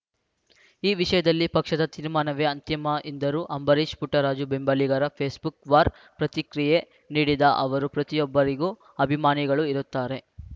ಈ ವಿಷಯದಲ್ಲಿ ಪಕ್ಷದ ತೀರ್ಮಾನವೇ ಅಂತಿಮ ಎಂದರು ಅಂಬರೀಷ್‌ ಪುಟ್ಟರಾಜು ಬೆಂಬಲಿಗರ ಫೇಸ್‌ಬುಕ್‌ ವಾರ್ ಪ್ರತಿಕ್ರಿಯೆ ನೀಡಿದ ಅವರು ಪ್ರತಿಯೊಬ್ಬರಿಗೂ ಅಭಿಮಾನಿಗಳು ಇರುತ್ತಾರೆ